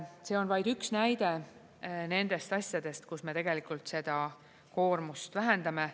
See on vaid üks näide nendest asjadest, kus me tegelikult seda koormust vähendame.